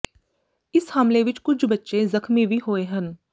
ਇਸ ਹਮਲੇ ਵਿਚ ਕੁਝ ਬੱਚੇ ਜ਼ਖਮੀ ਵੀ ਹੋਏ ਹਨ